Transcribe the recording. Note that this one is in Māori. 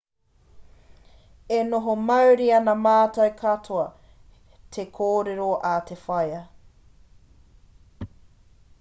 e oho mauri ana mātou katoa te kōrero a te whaea